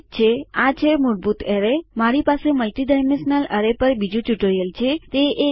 ઠીક છે આ છે મૂળભૂત એરેય મારી પાસે મલ્ટીડાઈમેન્શનલ એરેય પર બીજું ટ્યુટોરીઅલ છે